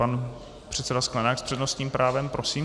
Pan předseda Sklenák s přednostním právem, prosím.